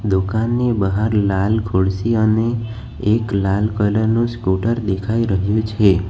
દુકાનની બહાર લાલ ખુરશી અને એક લાલ કલર નુ સ્કૂટર દેખાઈ રહ્યું છે.